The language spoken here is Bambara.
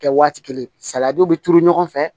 Kɛ waati kelen saladw bɛ turu ɲɔgɔn fɛ